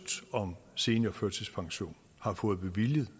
om seniorførtidspension har fået bevilget